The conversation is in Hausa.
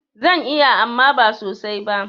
Zan iya amma ba sosai ba.